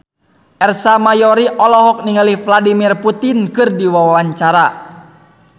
Ersa Mayori olohok ningali Vladimir Putin keur diwawancara